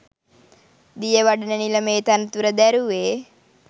දියවඩන නිලමේ තනතුර දැරුවේ